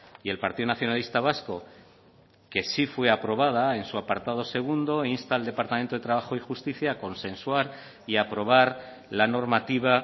y el partido nacionalista vasco que sí fue aprobada en su apartado segundo insta al departamento de trabajo y justicia a consensuar y aprobar la normativa